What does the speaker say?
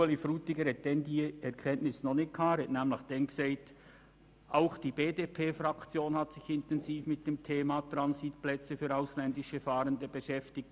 Ueli Frutiger verfügte damals noch nicht über diese Erkenntnis und sagte anlässlich der letzten Debatte: «Auch die BDPFraktion hat sich intensiv mit dem Thema Transitplatz für ausländische Fahrende beschäftigt.